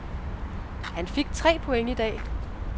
Han fik tre point i dag.